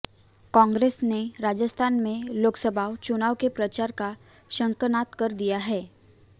कांग्रेस ने राजस्थान में लोकसभा चुनाव के प्रचार का शंखनाद कर दिया है